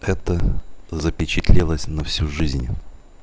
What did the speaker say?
это запечатлелось на всю жизнь